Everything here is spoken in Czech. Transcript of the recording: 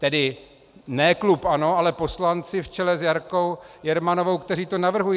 Tedy ne klub ANO, ale poslanci v čele s Jarkou Jermanovou, kteří to navrhují.